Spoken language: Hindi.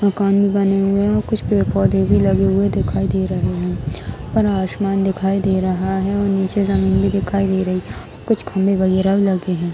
मकन भी बने हुए हैं और कुछ पेड़ पौधे भी लगे हुए दिखाई दे रहे हैं और आसमान दिखाई दे रहा है और निचे जमीन भी दिखाई दे रही है कुछ खम्बे वगेैरा लगे हैं |